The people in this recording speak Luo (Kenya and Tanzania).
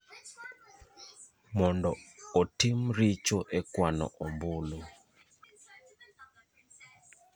mondo otim richo e kwano ombulu.